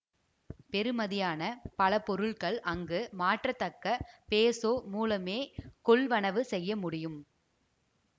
பெறுமதியான பல பொருட்கள் அங்கு மாற்றத்தக்க பேசோ மூலமே கொள்வனவு செய்ய முடியும்